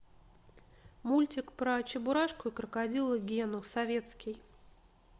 мультик про чебурашку и крокодила гену советский